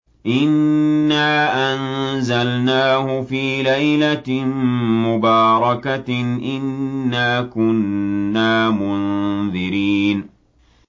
إِنَّا أَنزَلْنَاهُ فِي لَيْلَةٍ مُّبَارَكَةٍ ۚ إِنَّا كُنَّا مُنذِرِينَ